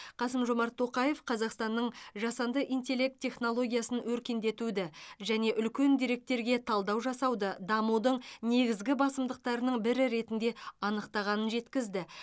қасым жомарт тоқаев қазақстанның жасанды интеллект технологиясын өркендетуді және үлкен деректерге талдау жасауды дамудың негізгі басымдықтарының бірі ретінде анықтағанын жеткізді